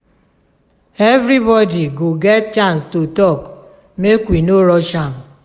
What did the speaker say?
everybody go get chance to talk make we no rush am.